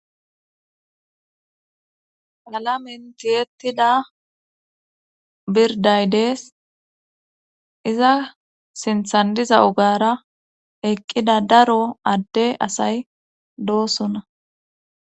halamentiyettida birday dees iza sinthandiza ogara eqqida daro adde asay doosona